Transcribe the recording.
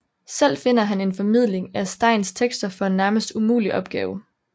Selv finder han en formidling af Steins tekster for en nærmest umulig opgave